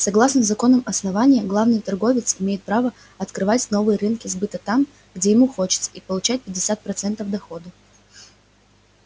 согласно законам основания главный торговец имеет право открывать новые рынки сбыта там где ему хочется и получать пятьдесят процентов дохода